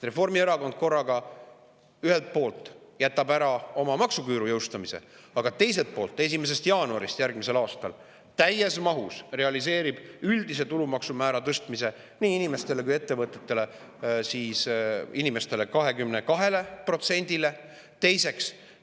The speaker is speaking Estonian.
Reformierakond jätab ühelt poolt ära oma maksuküüru jõustamise, aga teiselt poolt realiseerib 1. jaanuarist järgmisel aastal täies mahus üldise tulumaksumäära tõstmise nii inimestele kui ka ettevõtetele, inimestel 22%‑le.